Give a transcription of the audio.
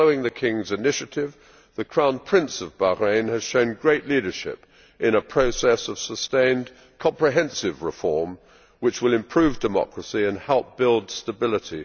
Following the King's initiative, the Crown Prince of Bahrain has shown great leadership in a process of sustained and comprehensive reform, which will improve democracy and help build stability.